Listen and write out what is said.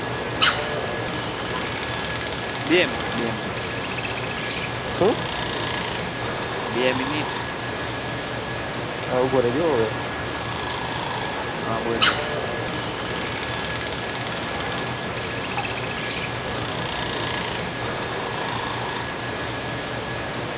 બે મિનિટ